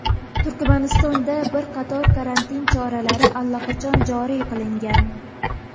Turkmanistonda bir qator karantin choralari allaqachon joriy qilingan.